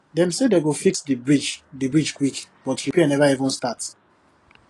dem say dem go fix the bridge the bridge quick but repair never even start